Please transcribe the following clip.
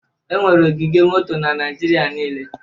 Enwere ogige moto na Naịjirịa niile